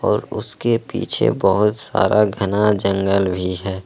और उसके पीछे बहुत सारा घना जंगल भी है।